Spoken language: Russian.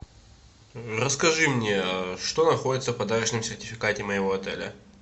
расскажи мне что находится в подарочном сертификате моего отеля